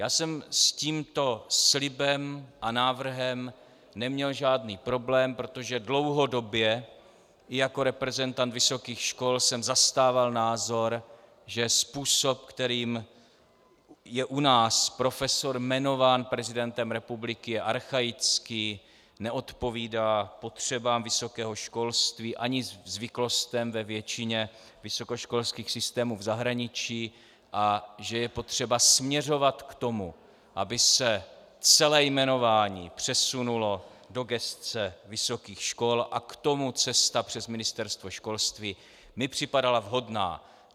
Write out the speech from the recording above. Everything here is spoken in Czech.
Já jsem s tímto slibem a návrhem neměl žádný problém, protože dlouhodobě i jako reprezentant vysokých škol jsem zastával názor, že způsob, kterým je u nás profesor jmenován prezidentem republiky, je archaický, neodpovídá potřebám vysokého školství ani zvyklostem ve většině vysokoškolských systémů v zahraničí a že je potřeba směřovat k tomu, aby se celé jmenování přesunulo do gesce vysokých škol, a k tomu cesta přes Ministerstvo školství mi připadala vhodná.